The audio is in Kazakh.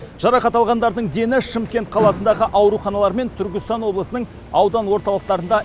жарақат алғандардың дені шымкент қаласындағы ауруханалар мен түркістан облысының аудан орталықтарында